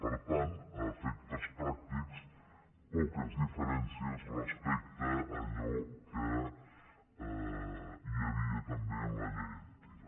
per tant a efectes pràctics poques diferències respecte a allò que hi havia també en la llei antiga